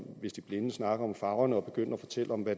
hvis blinde snakker om farver og begynder at fortælle om hvad